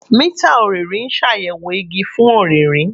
Mita ọrinrin n ṣayẹwo igi fun ọririn